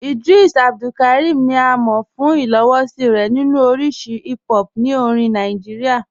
Ìdrìs Abdulkárímì ni à mọ̀ fún ìlòwòṣí rẹ̀ nínu oríṣì hìp hòp ní orìn Nàìjíríà.